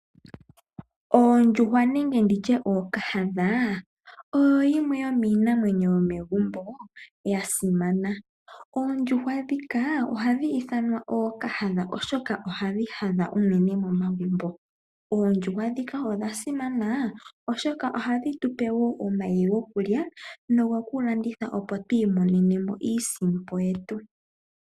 Oondjuhwa nenge nditye ookahadha oyo yimwe yomiinamwenyo yomegumbo ya simana. Oondjuhwa ndhika ohashi ithanwa ookahadha oshoka ohadhi hadha unene momagumbo. Oondjuhwa dhika odha simana oshoka ohadhi tupe woo omayi gokulya nogoku landitha opp tu imonenemo iisimpo yetu.